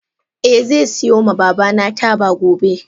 Eh ze siyo ma babana taba gobe.